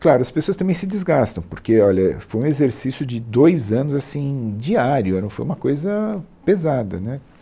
Claro, as pessoas também se desgastam, porque, olha, foi um exercício de dois anos, assim, diário, era um foi uma coisa pesada, né?